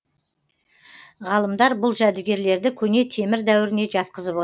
ғалымдар бұл жәдігерлерді көне темір дәуіріне жатқызып от